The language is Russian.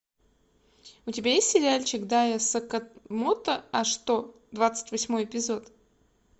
у тебя есть сериальчик да я сакамото а что двадцать восьмой эпизод